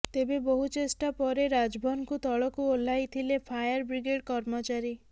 ତେବେ ବହୁ ଚେଷ୍ଟା ପରେ ରାଜଭରଙ୍କୁ ତଳକୁ ଓହ୍ଲାଇଥିଲେ ଫାୟାର ବ୍ରିଗେଡ କର୍ମଚାରୀ